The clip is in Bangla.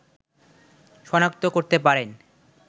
শনাক্ত করতে পারেন